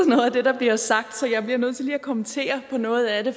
noget af det der bliver sagt så jeg bliver nødt til lige at kommentere på noget af det